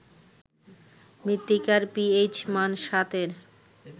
মৃত্তিকার পিএইচ মান ৭ এর